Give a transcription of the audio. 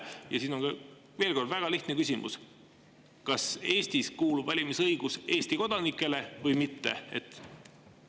Ja siin on ka, veel kord, väga lihtne küsimus: kas Eestis kuulub valimisõigus Eesti kodanikele või mitte?